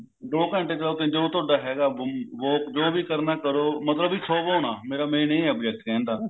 ਦੋ ਘੰਟੇ ਚਲਾਓ ਤਿੰਨ ਘੰਟੇ ਜੋ ਤੁਹਾਡਾ ਹੈਗਾ work ਜੋ ਵੀ ਕਰਨਾ ਐ ਕਰੋ ਮਤਲਬ ਕਿ ਸੋਵੋ ਨਾ ਮੇਰਾ main ਇਹ ਐ ਮਕਸਦ ਕਹਿਣ ਦਾ